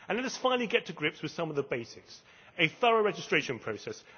And let us finally get to grips with some of the basics a thorough registration process